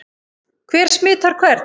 Hver smitar hvern?